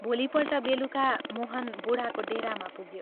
भोलिपल्ट बेलुका मोहन बूढाको डेरामा पुग्यो।